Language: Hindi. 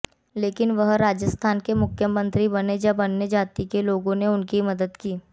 लेकिन वह राजस्थान के मुख्यमंत्री बने जब अन्य जाति के लोगों ने उनकी मदद की